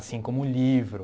Assim como livro.